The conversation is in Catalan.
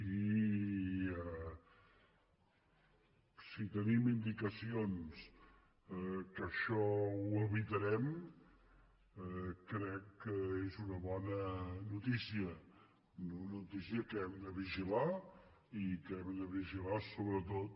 i si tenim indicacions que això ho evitarem crec que és una bona notícia una notícia que hem de vigilar i que hem de vigilar sobretot